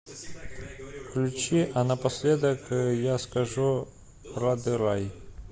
включи а напоследок я скажу рады рай